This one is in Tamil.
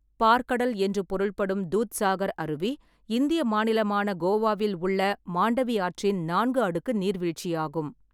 பாற்கடல் என்று பொருள்படும் தூத்சாகர் அருவி, இந்திய மாநிலமான கோவாவில் உள்ள மாண்டவி ஆற்றின் நான்கு அடுக்கு நீர்வீழ்ச்சியாகும்.